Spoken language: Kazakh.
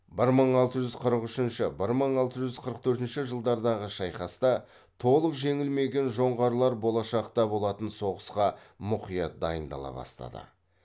бір мың алты жүз қырық үшінші бір мың алты жүз қырық төртінші жылдардағы шайқаста толық жеңілмеген жоңғарлар болашақта болатын соғысқа мұқият дайындала бастады